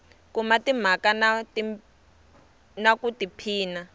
kuma timhaka na ku tiphina